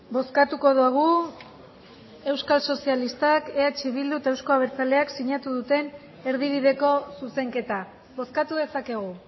bozkatuko dugu euskal sozialistak eh bildu eta euzko abertzaleak sinatu duten erdibideko zuzenketa bozkatu dezakegu